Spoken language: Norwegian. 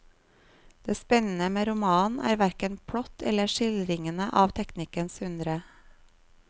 Det spennende med romanen er hverken plott eller skildringene av teknikkens undre.